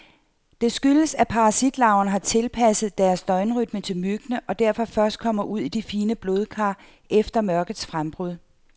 Det skyldes, at parasitlarverne har tilpasset deres døgnrytme til myggene, og derfor først kommer ud i de fine blodkar efter mørkets frembrud.